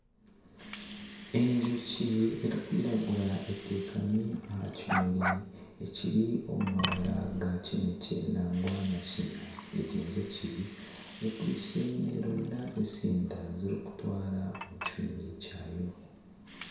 Enjoki erikwiragura etekami aha kimuri ekiri omu mabara ga kinekye nangwa na kinyaatsi. Egi njoki ekwitse neronda etsinda y'okutwara omu kihumi kyayo.